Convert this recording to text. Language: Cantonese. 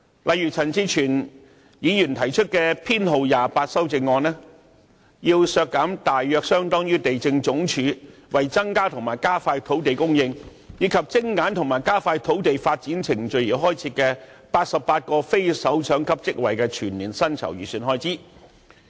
例如，陳志全議員提出修正案編號 28， 便要求削減大約相當於地政總署為增加和加快土地供應，以及精簡和加快土地發展程序而開設的88個非首長級職位的全年薪酬預算開支。